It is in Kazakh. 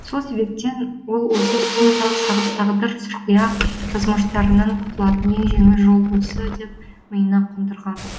сол себептен ол осы сұм тағдыр сұрқия жазмыштарынан құтылатын ең жеңіл жол осы деп миына қондырған